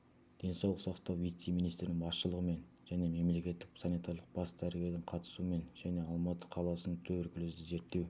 денсаулық сақтау вице-министрінің басшылығымен және мемлекеттік санитарлық бас дәрігердің қатысуымен және алматы қаласының туберкулезді зерттеу